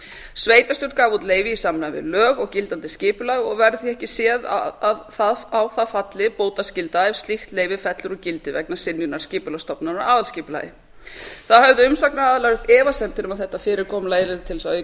sveitarstjórn gaf út leyfi í samræmi við lög og gildandi skipulag og verður því ekki séð að á það falli bótaskylda ef slíkt leyfi fellur úr gildi vegna synjunar skipulagsstofnunar á aðalskipulagi þá höfðu umsagnaraðilar uppi efasemdir um að þetta fyrirkomulag yrði til þess að auka